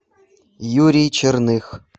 юрий черных